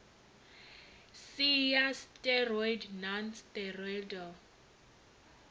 si ya steroid non steroidal